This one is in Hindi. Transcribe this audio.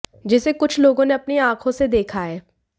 जिसे कुछ लोगों ने अपनी आंखों से देखा है